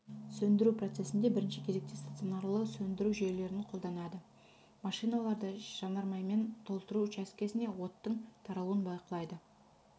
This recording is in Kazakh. сөндіру процесінде бірінші кезекте стационарлы сөндіру жүйелерін қолданады машиналарды жанармаймен толтыру учаскесіне оттың таралуын бақылайды